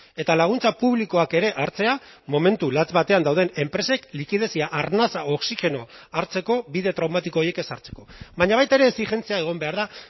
eta laguntza publikoak ere hartzea momentu latz batean dauden enpresek likidezia arnasa oxigenoa hartzeko bide traumatiko horiek ez hartzeko baina baita ere exijentzia egon behar da